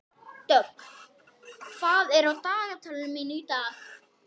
Hann lét móðan mása eins og kjáni.